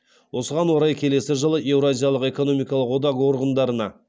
осыған орай келесі жылы еуразиялық экономикалық одақ органдарына